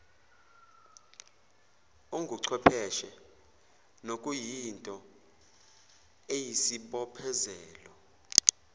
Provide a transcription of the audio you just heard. onguchwepheshe nokuyinto eyisibophezelo